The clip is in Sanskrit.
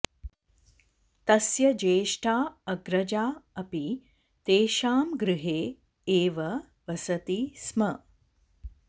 तस्य ज्येष्ठा अग्रजा अपि तेषां गृहे एव वसति स्म